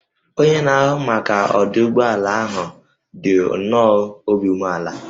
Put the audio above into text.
Onye na-ahụ maka ọdụ ụgbọ ala ahụ dị nnọọ obi umeala